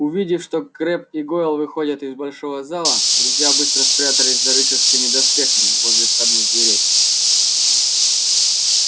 увидев что крэбб и гойл выходят из большого зала друзья быстро спрятались за рыцарскими доспехами возле входных дверей